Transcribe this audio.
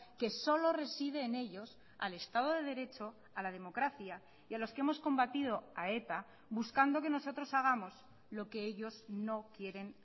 que solo reside en ellos al estado de derecho a la democracia y a los que hemos combatido a eta buscando que nosotros hagamos lo que ellos no quieren